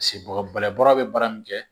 Paseke bɔgɔyɛ bɔrɔ bɛ baara min kɛ